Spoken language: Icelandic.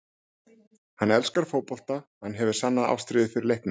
Hann elskar fótbolta, hann hefur sanna ástríðu fyrir leiknum.